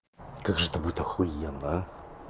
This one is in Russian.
как же это будет охуенно а